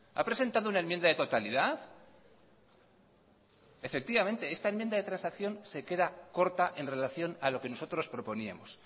ha presentado una enmienda de totalidad efectivamente esta enmienda de transacción se queda corta en relación a lo que nosotros proponíamos